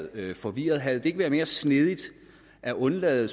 er blevet forvirret havde det ikke været mere snedigt at undlade